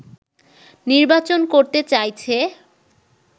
নির্বাচন করতে চাইছে